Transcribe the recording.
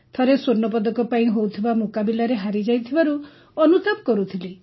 ଥରେ ସ୍ୱର୍ଣ୍ଣପଦକ ପାଇଁ ହେଉଥିବା ମୁକାବିଲାରେ ହାରିଯାଇଥିବାରୁ ଅନୁତାପ କରୁଥିଲି